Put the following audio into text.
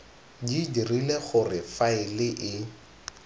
di dirile gore faele e